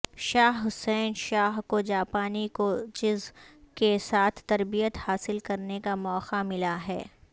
شاہ حسین شاہ کو جاپانی کوچز کے ساتھ تربیت حاصل کرنے کا موقع ملا ہے